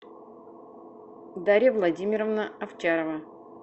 дарья владимировна овчарова